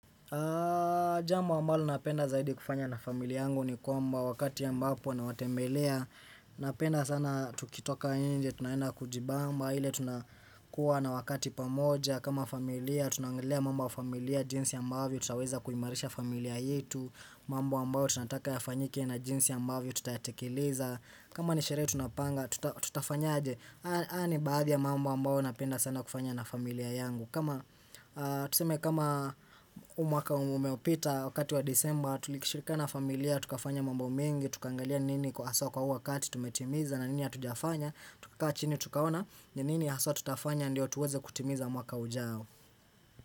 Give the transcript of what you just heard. Aah jambo ambalo napenda zaidi kufanya na familia yangu ni kwamba wakati ambapo nawatembelea Napenda sana tukitoka inje, tunaenda kujibamba, ile tunakuwa na wakati pamoja kama familia, tunaangilia mambo ya familia, jinsi ambavyo, tutaweza kuimarisha familia yetu mambo ambayo tunataka yafanyike na jinsi ambavyo, tutayatekeleza kama ni sherehe tunapanga, tutafanyaje, haya ni baadhi ya mambo ambao napenda sana kufanya na familia yangu kama tuseme kama huu mwaka umeopita wakati wa disemba tulikishirikana na familia, tukafanya mambo mingi, tukaangalia ni nini kwa haswa kwa uo wakati tumetimiza na nini hatujafanya, tukakaa chini tukaona, ni nini ya haswa tutafanya ndio tuweze kutimiza mwaka ujao.